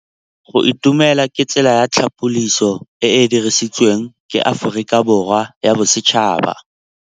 Go itumela ke tsela ya tlhapolisô e e dirisitsweng ke Aforika Borwa ya Bosetšhaba.